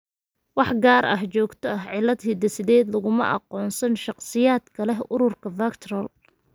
Wax gaar ah, joogto ah, cillad hidde-sideed laguma aqoonsan shakhsiyaadka leh ururka VACTERL.